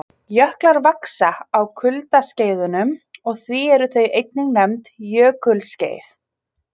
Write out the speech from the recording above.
Jöklar vaxa á kuldaskeiðunum og því eru þau einnig nefnd jökulskeið.